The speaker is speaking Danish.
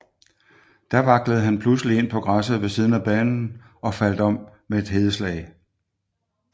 Da vaklede han pludselig ind på græsset ved siden af banen og faldt om med et hedeslag